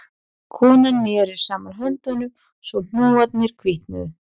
Konan neri saman höndunum svo hnúarnir hvítnuðu